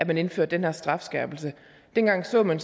man indførte den her strafskærpelse dengang så man